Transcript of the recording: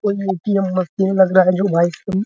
कोई ए.टी.एम. --